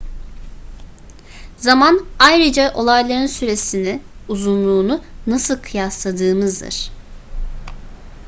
zaman ayrıca olayların süresini uzunluğunu nasıl kıyasladığımızdır